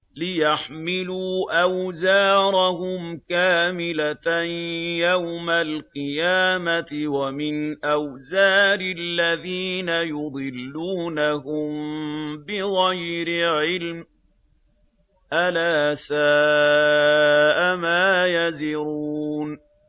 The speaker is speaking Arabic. لِيَحْمِلُوا أَوْزَارَهُمْ كَامِلَةً يَوْمَ الْقِيَامَةِ ۙ وَمِنْ أَوْزَارِ الَّذِينَ يُضِلُّونَهُم بِغَيْرِ عِلْمٍ ۗ أَلَا سَاءَ مَا يَزِرُونَ